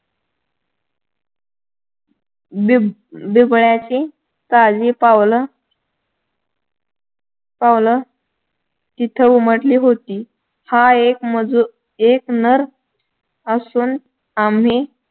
बिब बिबळ्याचे काही पावलं पावलं तिथे उमटली होती हा एक मजूर नर असून आम्ही